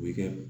U bɛ kɛ